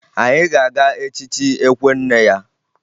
Anyị ga-aga echichi ekwe nne ya